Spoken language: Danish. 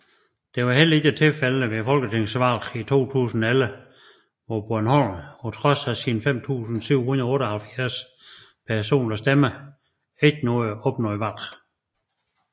Det var heller ikke tilfældet ved folketingsvalget i 2011 hvor Broholm på trods af 5778 personlige stemmer ikke opnåede valg